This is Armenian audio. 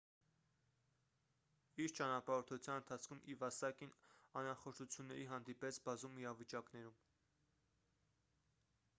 իր ճանապարհորդության ընթացքում իվասակին անախորժությունների հանդիպեց բազում իրավիճակներում